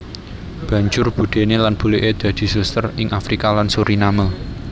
Banjur budéné lan buliké dadi suster ing Afrika lan Suriname